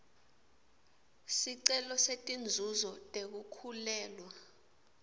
sicelo setinzuzo tekukhulelwa